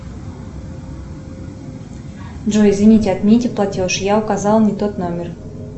джой извините отмените платеж я указала не тот номер